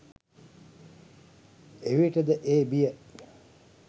එවිට ද ඒ බිය